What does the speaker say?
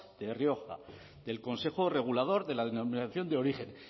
de rioja del consejo regulador de la denominación de origen